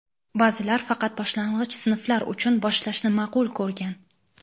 ba’zilar faqat boshlang‘ich sinflar uchun boshlashni ma’qul ko‘rgan.